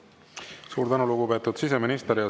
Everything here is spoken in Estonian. Suur tänu, lugupeetud siseminister!